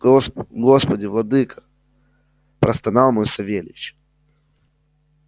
гос господи владыко простонал мой савельич